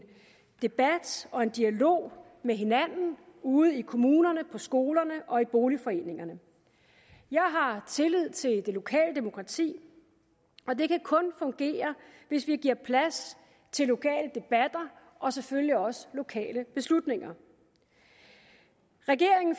debat og en dialog med hinanden ude i kommunerne på skolerne og i boligforeningerne jeg har tillid til det lokale demokrati og det kan kun fungere hvis vi giver plads til lokale debatter og selvfølgelig også lokale beslutninger regeringen